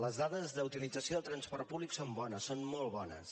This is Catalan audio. les dades d’utilització del transport públic són bones són molt bones